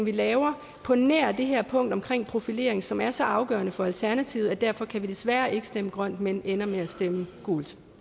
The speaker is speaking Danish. vi laver på nær det her punkt om profilering som er så afgørende for alternativet at vi derfor desværre ikke kan stemme grønt men ender med at stemme gult